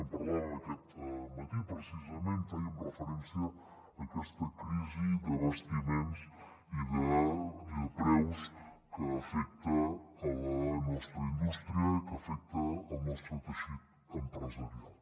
en parlàvem aquest matí precisament fèiem referència a aquesta crisi d’abastiments i de preus que afecta la nostra indústria que afecta el nostre teixit empresarial